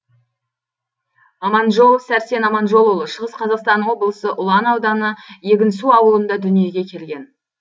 аманжолов сәрсен аманжолұлы шығыс қазақстан облысы ұлан ауданы егінсу ауылында дүниеге келген